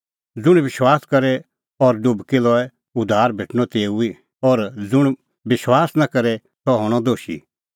ज़ुंण विश्वास करे और डुबकी लए उद्धार भेटणअ तेऊ ई और ज़ुंण बिश्वास निं करे सह हणअ दोशी